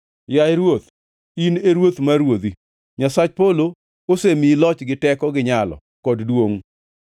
Yaye ruoth, in e ruoth mar ruodhi. Nyasach polo asemiyi loch gi teko gi nyalo kod duongʼ;